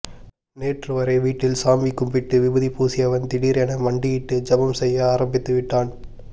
நேற்று வரை வீட்டில் சாமி கும்பிட்டு விபூதி பூசியவன் தீடிர் என மண்டியிட்டு ஜபம் செய்ய ஆரம்பித்து விட்டான்